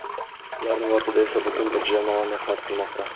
Ularning ortida esa butun bir jamoa mehnat qilmoqda.